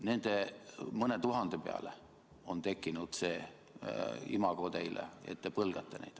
Nende mõne tuhande tõttu on tekkinud see imago teil, et te põlgate neid.